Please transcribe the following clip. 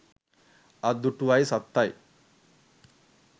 අත් දුටුවයි සත්තයි